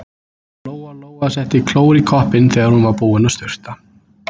Lóa-Lóa setti klór í koppinn þegar hún var búin að sturta.